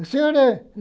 O senhor é?